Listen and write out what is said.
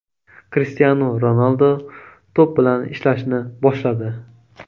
Krishtianu Ronaldu to‘p bilan ishlashni boshladi.